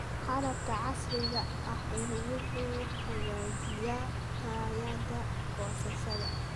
Qalabka casriga ahi wuxuu hagaajiyaa tayada goosashada.